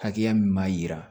Hakɛya min b'a jira